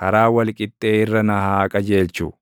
karaa wal qixxee irra na haa qajeelchu.